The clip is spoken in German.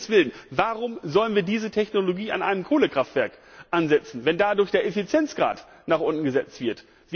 Warum um Himmels willen sollen wir diese Technologie in einem Kohlekraftwerk einsetzen, wenn dadurch der Effizienzgrad nach unten gesetzt wird?